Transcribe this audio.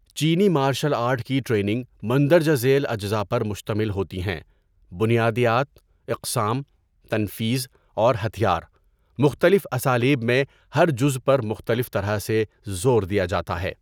چینی martial art کی training مندرجہ ذیل اجزاء پر مشتمل ہوتی ہیں بنیادیات، اقسام، تنفیذ اور ہتھیار، مختلف اسالیب میں ہر جزو پر مختلف طرح سے زور دیا جاتا ہے.